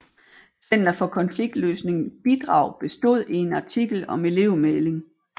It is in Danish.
Center for Konfliktløsning bidrag bestod i en artikel om elevmægling